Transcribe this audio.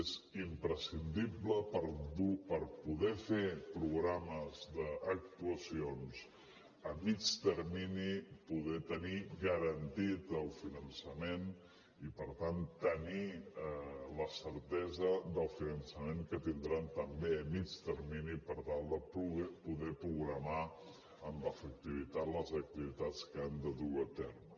és imprescindible per poder fer programes d’actuacions a mitjà termini poder tenir garantit el finançament i per tant tenir la certesa del finançament que tindran també a mitjà termini per tal de poder programar amb efectivitat les activitats que han de dur a terme